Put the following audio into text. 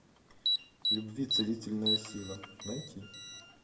любви целительная сила найти